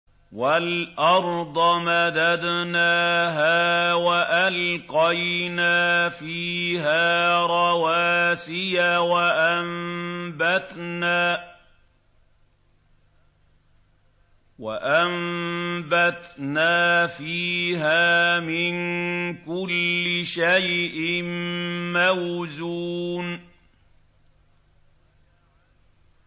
وَالْأَرْضَ مَدَدْنَاهَا وَأَلْقَيْنَا فِيهَا رَوَاسِيَ وَأَنبَتْنَا فِيهَا مِن كُلِّ شَيْءٍ مَّوْزُونٍ